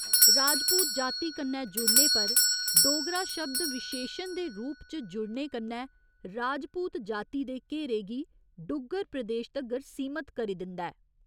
राजपूत जाति कन्नै जुड़ने पर 'डोगरा' शब्द विशेशण दे रूप च जुड़ने कन्नै 'राजपूत' जाति दे घेरे गी डुग्गर प्रदेश तगर सीमत करी दिंदा ऐ।